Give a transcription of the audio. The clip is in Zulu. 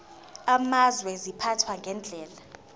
amazwe ziphathwa ngendlela